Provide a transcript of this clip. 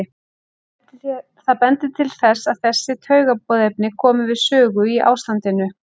Það bendir til þess að þessi taugaboðefni komi við sögu í ástandinu.